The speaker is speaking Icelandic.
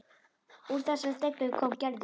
Úr þessari deiglu kom Gerður.